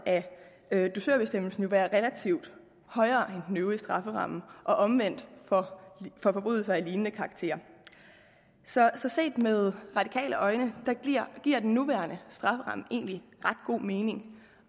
af dusørbestemmelsen jo være relativt højere end den øvrige strafferamme og omvendt for forbrydelser af lignende karakter så så set med radikale øjne giver den nuværende strafferamme egentlig ret god mening